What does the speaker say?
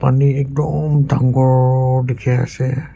Pani ekdam dagur dekhi ase.